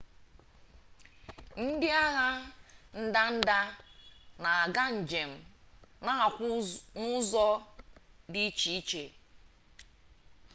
ndị agha ndanda na-aga njem na-akwụ n'ụzọ dị iche iche